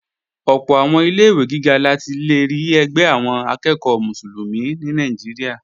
Ọ̀pọ̀ àwọn ilé-ìwé gíga la ti lè rí ẹgbẹ́ àwọn akẹ́ẹ̀kọ́ Mùsùlùmí ní Nàìjíríà